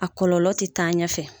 A kɔlɔlɔ tɛ taa ɲɛfɛ